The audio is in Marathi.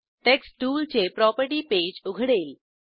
टेक्स्ट टूलचे प्रॉपर्टी पेज उघडेल